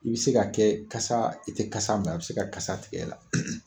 I bɛ se ka kɛ kasa i tɛ kasa mɛn a bɛ se ka kasa tigɛ i la.